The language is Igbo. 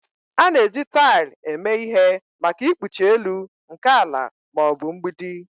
A na-eji taịl eme ihe maka ikpuchi elu nke ala ma ọ bụ mgbidi